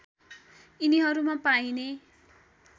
यिनीहरूमा पाइने